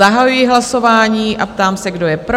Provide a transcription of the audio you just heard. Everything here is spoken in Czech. Zahajuji hlasování a ptám se, kdo je pro?